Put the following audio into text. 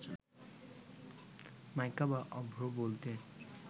মাইকা বা অভ্র বলতে